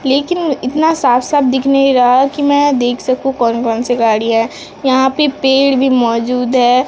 लेकिन इतना साफ साफ दिख नहीं रहा है कि में देख सकूं कौन कौन सी गाड़ियां हैं यहाँ पे पेड़ भी मौजूद है।